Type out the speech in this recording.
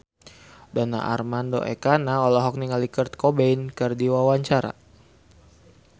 Donar Armando Ekana olohok ningali Kurt Cobain keur diwawancara